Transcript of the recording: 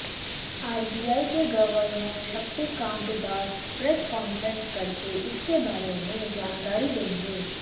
RBI के governor Shaktikanta Das press conference करके इसके बारे में जानकारी देंगे